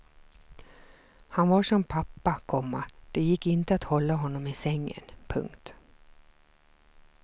Han var som pappa, komma det gick inte att hålla honom i sängen. punkt